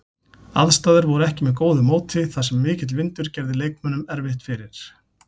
Aðstæður voru ekki með góðu móti þar sem mikill vindur gerði leikmönnum erfitt fyrir.